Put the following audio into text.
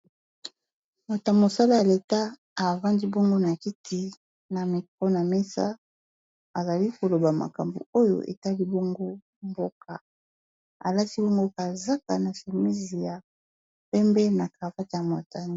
Moto mosala ya leta avandi bongo na kiti na miko na mesa azali koloba makambo oyo etali bungu mboka alati bongoka azaka na semise ya pembe na cavate